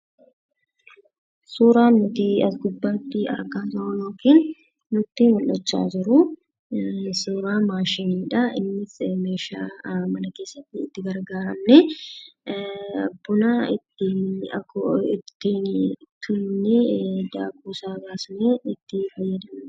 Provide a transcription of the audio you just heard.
Suuraan nuti as gubbaatti argaa jirru suuraa maashiniidha. Innis meeshaa mana keessatti itti gargaaramnee buna ittiin tumnee daakuu isaa baafnee itti fayyadamnudha.